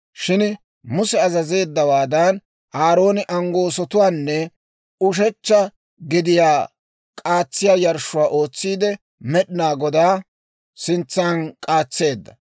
Shin Muse azazeeddawaadan, Aarooni anggoosotuwaanne ushechcha gediyaa k'aatsiyaa yarshshuwaa ootsiide, Med'inaa Godaa sintsan k'aatseedda.